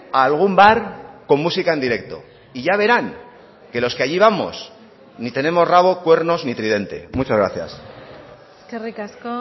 algún bar con música en directo y ya verán que los que allí vamos ni tenemos rabo cuernos ni tridente muchas gracias eskerrik asko